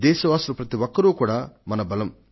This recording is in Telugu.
దేశవాసులు ప్రతి ఒక్కరూ మన బలం